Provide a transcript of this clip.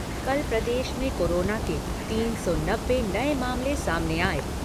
कल प्रदेश में कोरोना के तीन सौ नब्बे नए मामले सामने आए।